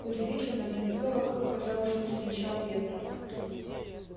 удивительно но никто вокруг казалось не замечал ветра